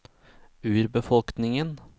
urbefolkningen